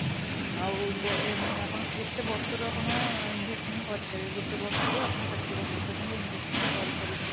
ଆଉ ମାନେ ଆପଣ କେତେ ବର୍ଷରୁ ଆପଣ investment କରିପାରେ ଗୋଟେ ବର୍ଷରୁ ଆପଣ ଷାଠିଏ ବର୍ଷ ପର୍ଯ୍ୟନ୍ତ investment କରିପାରିବେ